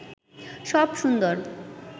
সব সুন্দর